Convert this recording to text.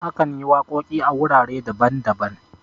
akan yi waƙoƙi a wurare daban-daban